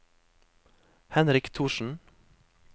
Henrik Thorsen